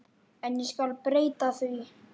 En ég skal breyta því.